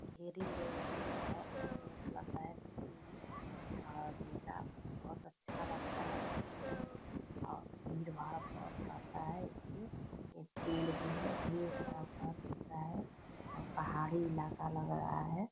ढेरी लोग हैं बहुत खूबसूरत लग रहा है देखने में और नीला बहुत अच्छा लगता है देखने में और भीड़-भाड़ बहुत रहता है इसमें एक पेड़ भी है ढेर सारा पहाड़ दिख रहा है और पहाड़ी इलाका लग रहा है।